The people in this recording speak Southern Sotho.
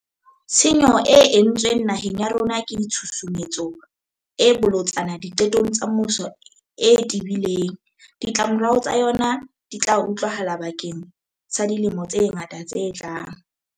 Tshenyo e entsweng naheng ya rona ke tshusumetso e bolotsana diqetong tsa puso e tebileng. Ditlamorao tsa yona di tla utlwahala bakeng sa dilemo tse ngata tse tlang.